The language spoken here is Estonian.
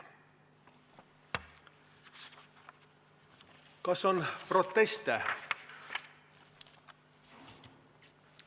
Kas on proteste?